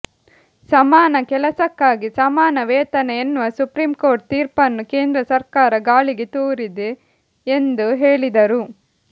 ಸಮಾನ ಕೆಲಸಕ್ಕಾಗಿ ಸಮಾನ ವೇತನ ಎನ್ನುವ ಸುಪ್ರೀಂ ಕೋರ್ಟ್ ತೀರ್ಪುನ್ನು ಕೇಂದ್ರ ಸರ್ಕಾರ ಗಾಳಿಗೆ ತೂರಿದೆ ಎಂದು ಹೇಳಿದರು